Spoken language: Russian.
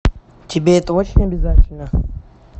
тебе это очень обязательно